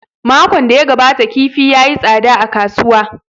Makon da ya gabata kifi ya yi tsada a kasuwa